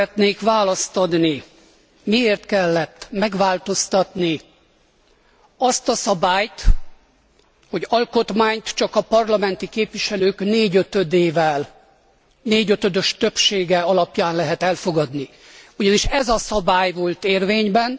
Arra szeretnék választ adni, miért kellett megváltoztatni azt a szabályt, hogy alkotmányt csak a parlamenti képviselők négyötödös többsége alapján lehet elfogadni, ugyanis ez a szabály volt érvényben.